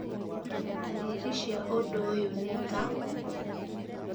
ndariri cia ũndũ ũyũ nĩ ta: